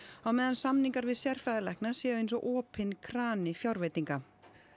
á meðan samningar við sérfræðilækna séu eins og opinn krani fjárveitinga